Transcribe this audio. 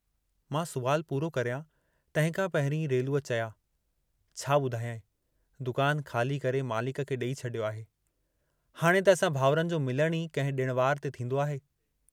मां सुवालु पूरो करियां, तंहिंखां पहिरीं रेलूअ चया, "छा ॿुधायांइ, दुकान ख़ाली करे मालिक खे ॾेई छॾियो आहे, हाणे त असां भाउरनि जो मिलणु ई कंहिं ॾिण वार ते थींदो आहे।